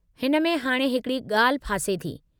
हिन में हाणे हिकड़ी ॻाल्हि फासे थी।